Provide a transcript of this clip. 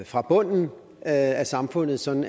fra bunden af samfundet sådan